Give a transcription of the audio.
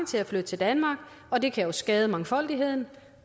til at flytte til danmark og det kan jo skade mangfoldigheden